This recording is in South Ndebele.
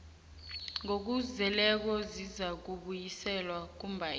ngokuzeleko zizakubuyiselwa kumbawi